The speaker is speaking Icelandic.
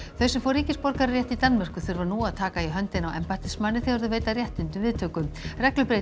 þau sem fá ríkisborgararétt í Danmörku þurfa nú að taka í höndina á embættismanni þegar þau veita réttindunum viðtöku